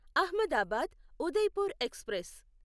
Ahmedabad Udaipur express